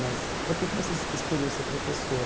Mas por que que você escolheu ser professor?